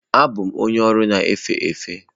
Abụ m onye ọrụ na-efe efe.